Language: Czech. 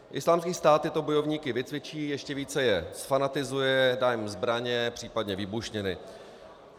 Islámský stát tyto bojovníky vycvičí, ještě více je zfanatizuje, dá jim zbraně, případně výbušniny.